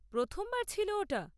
প্রথমবার ছিল ওটা?